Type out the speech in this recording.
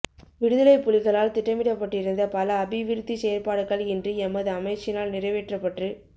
விடுதலைப்புலிகளால் திட்டமிடப்பட்டிருந்த பல அபிவிருத்திச் செயற்பாடுகள் இன்று எமது அமைச்சினால் நிறைவேற்றப்பட்டு